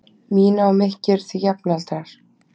Mína og Mikki eru því jafnaldrar.